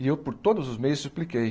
E eu por todos os meios expliquei.